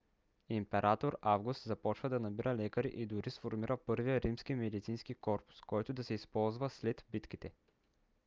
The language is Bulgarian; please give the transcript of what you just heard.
император август започва да набира лекари и дори сформира първия римски медицински корпус който да се използва след битките